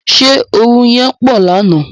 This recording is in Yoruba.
Ṣé oru yẹn pọ̀ lánàá.